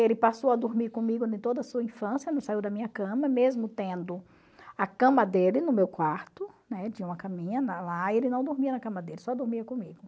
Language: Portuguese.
Ele passou a dormir comigo em toda a sua infância, não saiu da minha cama, mesmo tendo a cama dele no meu quarto, né, tinha uma caminha lá, ele não dormia na cama dele, só dormia comigo.